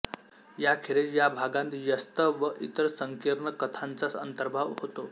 याखेरीज या भागांत यश्त व इतर संकीर्ण कथांचा अंतर्भाव होतो